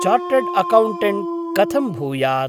Chartered accountant कथं भूयात्?